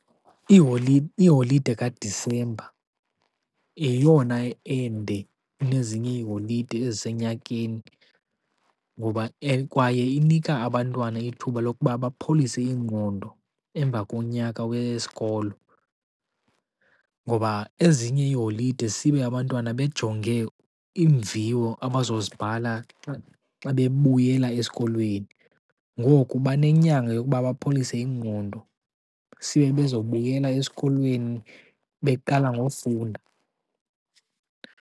Iholide kaDisemba yeyona ende kunezinye iiholide ezisenyakeni, kwaye inika abantwana ithuba lokuba bapholise ingqondo emva konyaka wesikolo. Ngoba ezinye iiholide sibe abantwana bejonge iimviwo abazozibhala xa bebuyela esikolweni. Ngoku banenyanga yokuba bapholise ingqondo, sibe bezobuyela esikolweni beqala ngofunda.